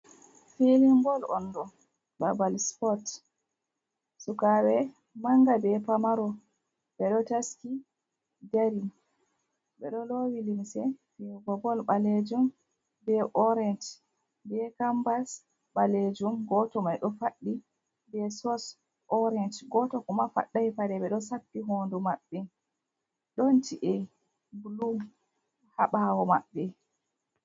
Filin bol on ɗo babal spot, sukaɓɓe manga be pamaro ɓeɗo taski dari ɓeɗo lowi limse fiyugo bol ɓalejum be orante be kambas ɓalejum goto mai ɗo faɗɗi be sos orant goto kuma faɗɗai paɗe ɗo sappi hondu maɓɓe ɗon ci’e blu ha bawo maɓɓe.